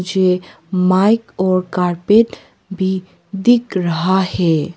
ये माइक और कारपेट भी दिख रहा है।